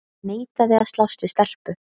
Neitaði að slást við stelpu